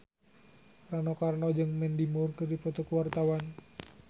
Rano Karno jeung Mandy Moore keur dipoto ku wartawan